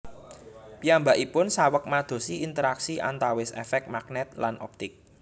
Piyambakipun saweg madosi interaksi antawis efek magnet lan optik